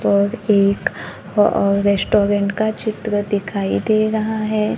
और एक अ रेस्टोरेंट का चित्र दिखाइ दे रहा है।